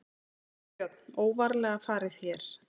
Björn: Óvarlega farið hér?